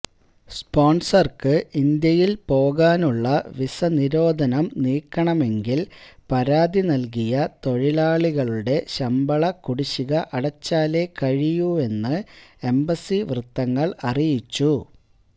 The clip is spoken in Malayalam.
സ്പോന്സര്ക്ക് ഇന്ത്യയില് പോകാനുള്ള വിസനിരോധനം നീക്കണമെങ്കില് പരാതി നല്കിയ തൊഴിലാളികളുടെ ശംബള കുടിശിക അടച്ചാലെ കഴിയൂവെന്ന് എംബസി വൃത്തങ്ങള് അറിയിച്ചു